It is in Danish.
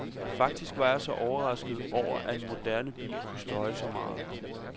Faktisk var jeg overrasket over, at en moderne bil kunne støje så meget.